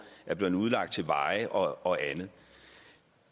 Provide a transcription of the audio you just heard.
er blevet udlagt til veje og og andet